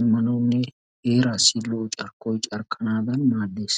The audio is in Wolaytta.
immanawunne heeraassi lo"o carkkoy carkkanaadan maaddes.